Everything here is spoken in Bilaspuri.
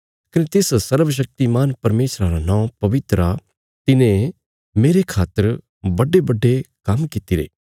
कने तिस सर्वशक्तिमान परमेशरा रा नौं पवित्र आ तिने मेरे खातर बड्डेबड्डे काम्म कित्तिरे